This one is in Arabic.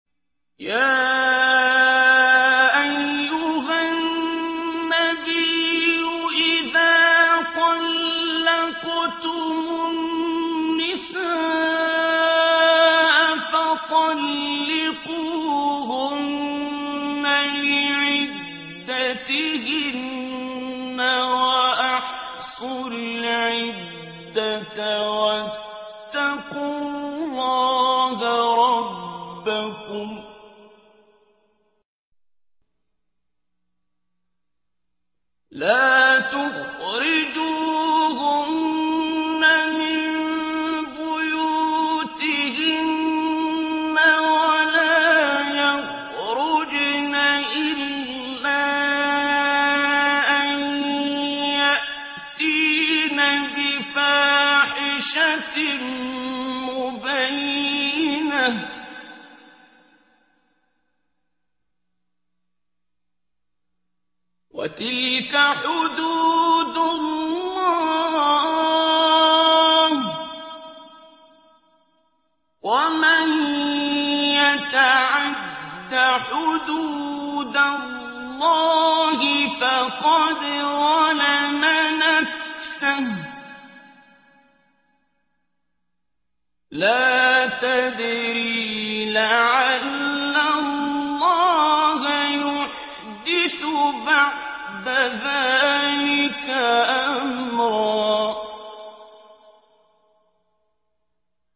يَا أَيُّهَا النَّبِيُّ إِذَا طَلَّقْتُمُ النِّسَاءَ فَطَلِّقُوهُنَّ لِعِدَّتِهِنَّ وَأَحْصُوا الْعِدَّةَ ۖ وَاتَّقُوا اللَّهَ رَبَّكُمْ ۖ لَا تُخْرِجُوهُنَّ مِن بُيُوتِهِنَّ وَلَا يَخْرُجْنَ إِلَّا أَن يَأْتِينَ بِفَاحِشَةٍ مُّبَيِّنَةٍ ۚ وَتِلْكَ حُدُودُ اللَّهِ ۚ وَمَن يَتَعَدَّ حُدُودَ اللَّهِ فَقَدْ ظَلَمَ نَفْسَهُ ۚ لَا تَدْرِي لَعَلَّ اللَّهَ يُحْدِثُ بَعْدَ ذَٰلِكَ أَمْرًا